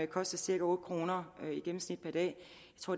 koster cirka otte kroner i gennemsnit per dag